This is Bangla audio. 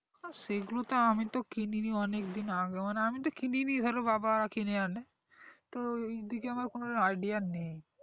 সেগুলো তো আমি তো কিনি নি অনেক দিন আগে মানে আমি তো কিনিনি ধরো বাবা কিনে আনে তো ঐদিকে আমার কোনো idea নেই